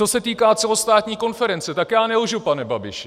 Co se týká celostátní konference, tak já nelžu, pane Babiši.